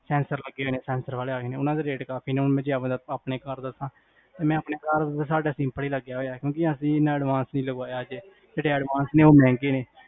censor ਲੱਗੇ ਹੋਏ ਨੇ censor ਵਾਲੇ ਆਏ ਨੇ ਓਨਾ ਦੇ rate ਕਾਫੀ ਨੇ, ਜੇ ਆਪਣੇ ਘਰ ਦਸਾ , ਸਾਡੇ ਘਰ simple ਲਗਾ ਹੋਇਆ ਹੈ, ਕਿਉਕਿ ਅਸੀਂ ਇਨਾ advance ਇਨ ਲਗਵਾਇਆ ਉਹ ਬੜੇ ਮਹਿੰਗੇ ਨੇ